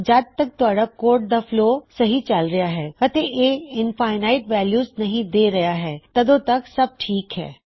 ਜਦ ਤੱਕ ਤੁਹਾਡਾ ਕੋਡ ਦਾ ਫਲੋ ਸਹੀ ਚਲ ਰਹਿਆ ਹੈ ਅਤੇ ਇਹ ਇੰਫਿਨਾਇਟ ਵੈਲਯੂਜ ਨਹੀ ਦੇ ਰਹਿਆ ਹੈ ਓਦੋਂ ਤੱਕ ਸਬ ਠੀਕ ਹੈ